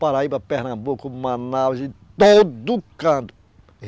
Paraíba, Pernambuco, Manaus, de todo canto.